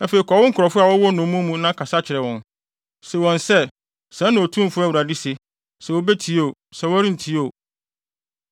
Afei kɔ wo nkurɔfo a wɔwɔ nnommum mu na kasa kyerɛ wɔn. Se wɔn sɛ, ‘Sɛɛ na Otumfo Awurade se,’ sɛ wobetie oo, sɛ wɔrentie oo.”